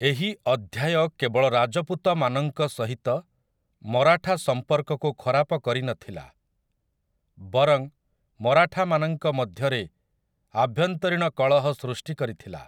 ଏହି ଅଧ୍ୟାୟ କେବଳ ରାଜପୁତମାନଙ୍କ ସହିତ ମରାଠା ସମ୍ପର୍କକୁ ଖରାପ କରିନଥିଲା, ବରଂ ମରାଠାମାନଙ୍କ ମଧ୍ୟରେ ଆଭ୍ୟନ୍ତରୀଣ କଳହ ସୃଷ୍ଟି କରିଥିଲା ।